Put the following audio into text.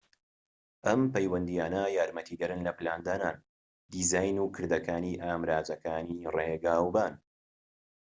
ئەم پەیوەندیانە یارمەتیدەرن لە پلاندانان دیزاین و کردەکانی ئامرازەکانی ڕیگاوبان